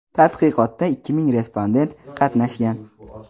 tadqiqotda ikki ming respondent qatnashgan.